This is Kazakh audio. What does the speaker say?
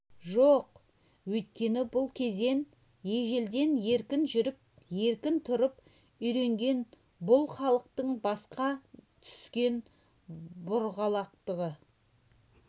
жоқ өйткені бұл кезең ежелден еркін жүріп еркін тұрып үйренген бұл халықтың басқа түскен бұғалықты